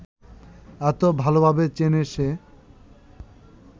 এত ভালভাবে চেনে সে